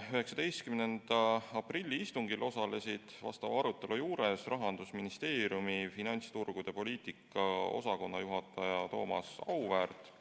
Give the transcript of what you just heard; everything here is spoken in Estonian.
19. aprilli istungil osalesid arutelul Rahandusministeeriumi finantsturgude poliitika osakonna juhataja Thomas Auväärt